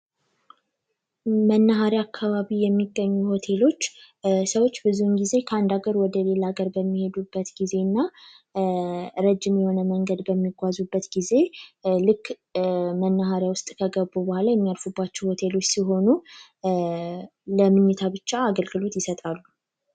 መናሪ አካባቢ የሚገኙ ሆቴሎች ሰዎች የሚሄዱበት ጊዜ እና ረጅም የሆነ መንገድ በሚጓዙበት ጊዜ ሲሆኑ ብቻ አገልግሎት ይሰጣሉ